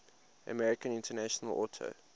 american international auto